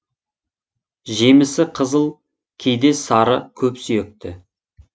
жемісі қызыл кейде сары көпсүйекті